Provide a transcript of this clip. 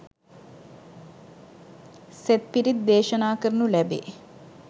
සෙත් පිරිත් දේශනා කරනු ලැබේ.